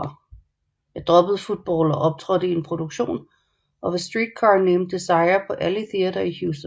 Jeg droppede football og optrådte i en produktion af A Streetcar Named Desire på Alley Theatre i Houston